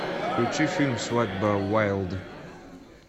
включи фильм свадьба уайлд